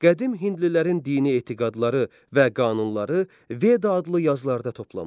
Qədim hindlilərin dini etiqadları və qanunları Veda adlı yazılarda toplanmışdır.